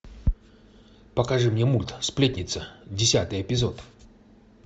покажи мне мульт сплетница десятый эпизод